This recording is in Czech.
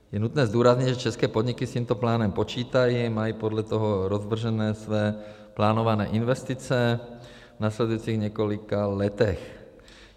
Je nutné zdůraznit, že české podniky s tímto plánem počítají, mají podle toho rozvržené své plánované investice v následujících několika letech.